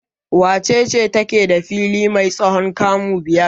Wace ce take da fili mai tsawon kamu biyar?